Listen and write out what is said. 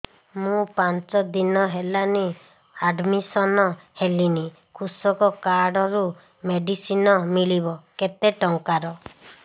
ମୁ ପାଞ୍ଚ ଦିନ ହେଲାଣି ଆଡ୍ମିଶନ ହେଲିଣି କୃଷକ କାର୍ଡ ରୁ ମେଡିସିନ ମିଳିବ କେତେ ଟଙ୍କାର